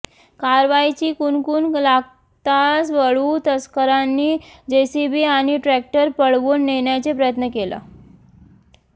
कारवाईची कुणकुण लागताच वाळू तस्करांनी जेसीबी आणि ट्रॅक्टर पळवून नेण्याचा प्रयत्न केला